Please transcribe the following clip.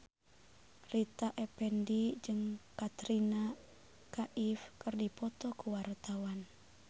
Rita Effendy jeung Katrina Kaif keur dipoto ku wartawan